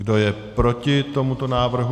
Kdo je proti tomuto návrhu?